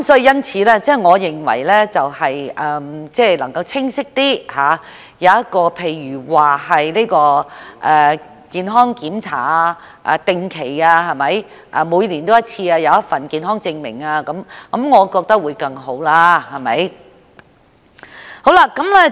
因此，我認為應該清晰一點，例如規定進行定期健康檢查，或每年須提交健康證明等，我覺得這樣會更好。